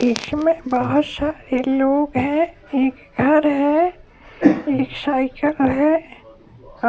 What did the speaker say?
इसमें बहुत सारे लोग हैं एक घर है एक साइकिल है